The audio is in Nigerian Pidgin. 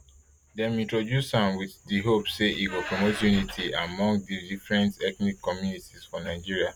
dem introduce am wit di hope say e go promote nity among di different ethnic communities for nigeria